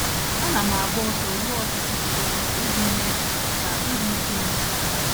Ana m agba ọsọ ruo ọtụtụ kilomita iji mee ka iru újú m belata.